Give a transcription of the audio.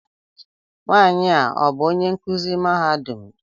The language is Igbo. Nwanyi a ọ bú onye nkụzi mahadum?